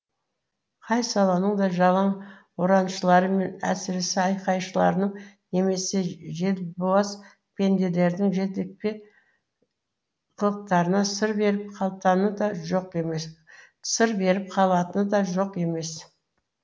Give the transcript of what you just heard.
қай саланың да жалаң ұраншылары мен әсіре айқайшыларының немесе желбуаз пенделердің желөкпе қылықтарына сыр беріп қалатыны да жоқ емес